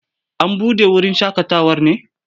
An buɗe wurin shaƙatawar ne?